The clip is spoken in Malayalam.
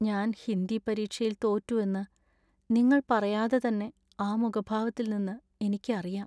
ഞാൻ ഹിന്ദി പരീക്ഷയിൽ തോറ്റു എന്ന് നിങ്ങള്‍ പറയാതെ തന്നെ ആ മുഖഭാവത്തില്‍നിന്ന് എനിക്ക് അറിയാം.